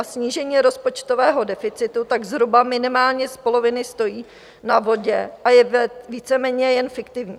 A snížení rozpočtového deficitu tak zhruba minimálně z poloviny stojí na vodě a je víceméně jen fiktivní.